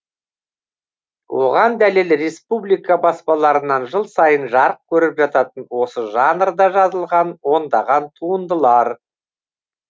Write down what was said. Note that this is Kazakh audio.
оған дәлел республика баспаларынан жыл сайын жарық көріп жататын осы жанрда жазылған ондаған туындылар